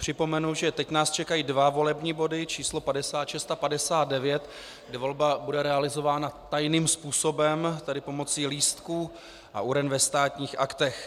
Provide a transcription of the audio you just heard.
Připomenu, že teď nás čekají dva volební body, číslo 56 a 59, kde volba bude realizována tajným způsobem, tedy pomocí lístků a uren ve Státních aktech.